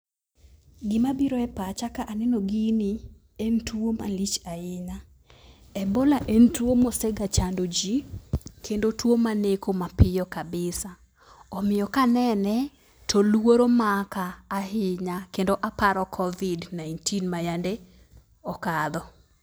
Gima biro e pacha ka aneno gini en tuo malich ahinya. Ebola en tuo mosega chando jii, kendo tuo maneko mapiyo kabisa. Omiyo kanene to luoro maka ahinya kendo aparo covid nineteen mayande okadho.